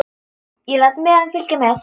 Ég læt miðann fylgja með.